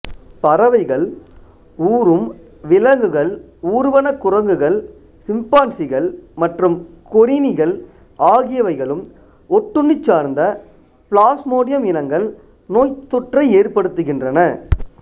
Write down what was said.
பறவைகள் ஊரும் விலங்குகள் ஊர்வன குரங்குகள் சிம்பான்சிகள் மற்றும் கொறிணிகள் ஆகியவைகளுக்கும் ஒட்டுண்ணி சார்ந்த பிளாசுமோடியம் இனங்கள் நோய்த்தொற்றை ஏற்படுத்துகின்றன